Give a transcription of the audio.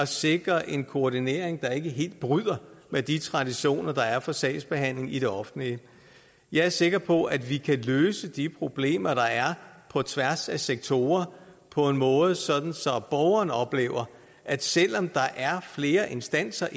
sikre en koordinering der ikke helt bryder med de traditioner der er for sagsbehandling i det offentlige jeg er sikker på at vi kan løse de problemer der er på tværs af sektorer på en måde så borgeren oplever at selv om der er flere instanser